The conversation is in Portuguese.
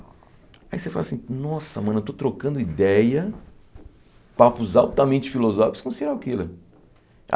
Aí você fala assim, nossa, mano, eu estou trocando ideia, papos altamente filosóficos com um serial killer.